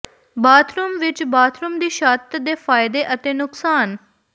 bathroom ਵਿੱਚ bathroom ਦੀ ਛੱਤ ਦੇ ਫਾਇਦੇ ਅਤੇ ਨੁਕਸਾਨ